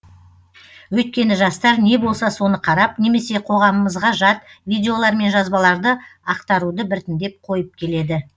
өйткені жастар не болса соны қарап немесе қоғамымызға жат видеолар мен жазбаларды ақтаруды біртіндеп қойып келеді